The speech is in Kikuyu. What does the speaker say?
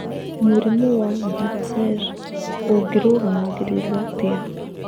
Mũrimũ wa Bartter ũngĩrũgamagĩrĩrũo atĩa?